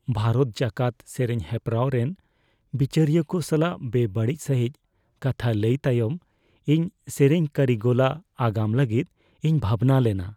ᱵᱷᱟᱨᱚᱛ ᱡᱟᱠᱟᱛ ᱥᱮᱨᱮᱧ ᱦᱮᱯᱨᱟᱣ ᱨᱮᱱ ᱵᱤᱪᱟᱹᱨᱤᱭᱟᱹ ᱠᱚ ᱥᱟᱞᱟᱜ ᱵᱮᱼᱵᱟᱹᱲᱤᱡ ᱥᱟᱹᱦᱤᱡ ᱠᱟᱛᱷᱟ ᱞᱟᱹᱭ ᱛᱟᱭᱚᱢ ᱤᱧ ᱥᱮᱨᱮᱧ ᱠᱟᱹᱨᱤᱜᱚᱞᱟᱜ ᱟᱜᱟᱢ ᱞᱟᱹᱜᱤᱫ ᱤᱧ ᱵᱷᱟᱵᱽᱱᱟ ᱞᱮᱱᱟ ᱾